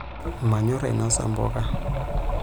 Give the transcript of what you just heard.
Manyorr ainosa mpuka.